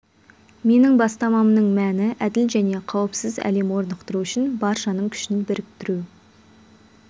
менің бастамамның мәні әділ және қауіпсіз әлем орнықтыру үшін баршаның күшін біріктіру